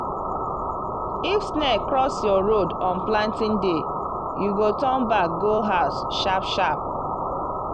if snake cross your road on planting day you go turn back go house sharp-sharp.